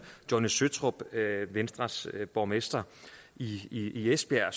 johnny søtrup venstres borgmester i i esbjerg